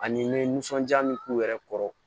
Ani n ye nisɔndiya min k'u yɛrɛ kɔrɔ